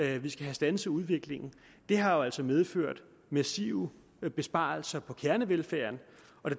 at de skal standse udviklingen det har jo altså medført massive besparelser på kernevelfærden